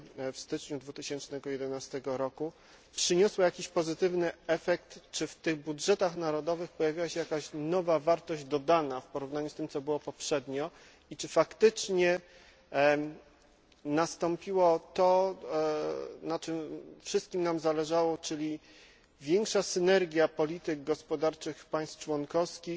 w styczniu 2011 roku przyniosła jakiś pozytywny efekt czy w budżetach narodowych pojawiła się jakaś nowa wartość dodana w porównaniu z tym, co było poprzednio, i czy faktycznie nastąpiło to, na czym wszystkim nam zależało, czyli większa synergia polityk gospodarczych państw członkowskich,